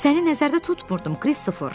Səni nəzərdə tutmurdum, Kristofer.